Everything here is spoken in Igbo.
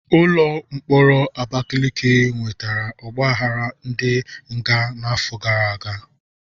Ụlọ mkpọrọ Abakaliki nwetara ogbaghara ndi nga n'afọ gara aga.